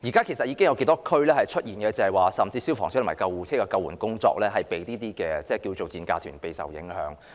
其實，現在頗多地區甚至已出現消防車及救護車的救援工作因這些所謂的"賤價團"而備受影響的情況。